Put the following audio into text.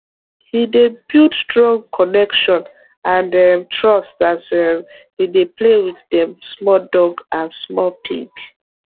he dey build strong connection and um trust as um he dey play with dem small dog and small pig